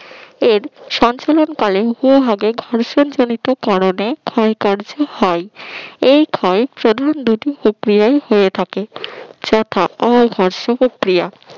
এ সঞ্চালনকালীন ভূভাগে ঘর্ষণজনিত কারণে ক্ষয়কার্য হয় এই ক্ষয় প্রধান দুটি প্রক্রিয়ায় হয়ে থাকে যথা all হর্স প্রক্রিয়া